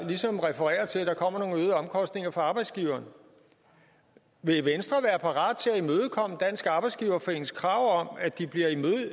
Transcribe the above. ligesom refererer til at der kommer nogle øgede omkostninger for arbejdsgiverne vil venstre være parat til at imødekomme dansk arbejdsgiverforenings krav om at de bliver